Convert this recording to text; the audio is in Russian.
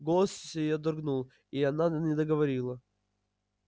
голос её дрогнул и она не договорила